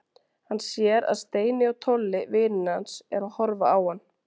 Hann sér að Steini og Tolli, vinir hans, eru að horfa á hann.